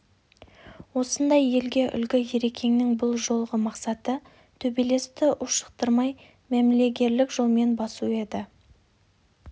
осындай елге үлгі ерекеңнің бұл жолғы мақсаты төбелесті ушықтырмай мәмілегерлік жолмен басу еді